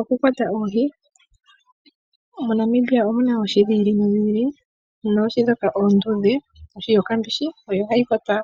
Okukwata oohi, moNamibia omu na oohi dhiili no dhiili noohi ndhoka oondudhe, ohi yokambishi odho hadhi kwatwa